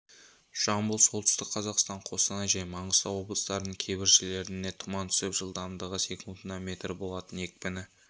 жамбыл солтүстік қазақстан қостанай және маңғыстау облыстарының кейбір жерлеріне тұман түсіп жылдамдығы секундына метр болатын екпіні